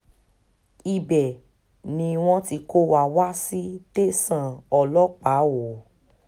ibẹ̀ ni wọ́n ti kó wa wá sí tẹ̀sán ọlọ́pàá o o